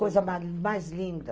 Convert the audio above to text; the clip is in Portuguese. Coisa mais linda.